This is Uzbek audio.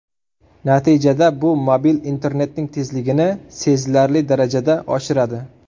Natijada bu mobil internetning tezligini sezilarli darajada oshiradi.